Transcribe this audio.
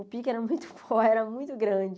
O pique era muito for, era muito grande.